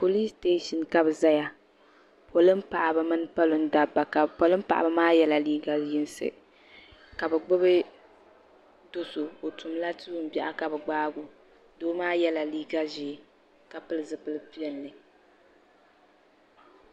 Polis sitation ka bɛ zaya polin paɣa mini polin dabba ka polin paɣaba maa yɛla liiga yinsi ka bɛ gbibi doso o tumli tuun biɛɣu ka bɛ gbaagi o doo maa yɛla liiga ʒee ka pili zipil piɛlli.